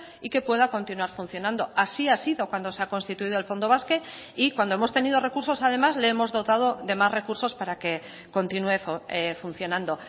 y que pueda continuar funcionando así ha sido cuando se ha constituido el fondo basque y cuando hemos tenido recursos además le hemos dotado de más recursos para que continúe funcionando